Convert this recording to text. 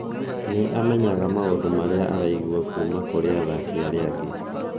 "Nĩ amenyaga maũndũ marĩa araigua kuuma kũrĩ athaki arĩa angĩ".